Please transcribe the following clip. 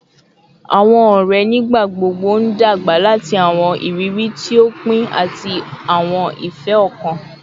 Awọn ọrẹ nigbagbogbo n dagba lati awọn iriri ti o pin ati awọn ifẹ-ọkan